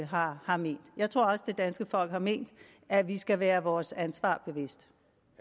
har har ment jeg tror også det danske folk har ment at vi skal være vores ansvar bevidst